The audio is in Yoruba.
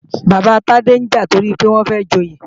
Bàbá Tade ń jà toripé ó fẹ́ joyè